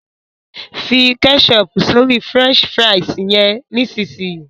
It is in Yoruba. fí ketchup sórí french fries yén nísìsiyìí!